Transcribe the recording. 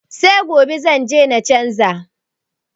Se gobe zanje na canza.